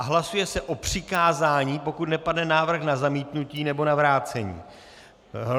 A hlasuje se o přikázání, pokud nepadne návrh na zamítnutí nebo na vrácení.